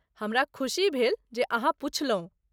हमरा खुशी भेल जे अहाँ पुछलहुँ।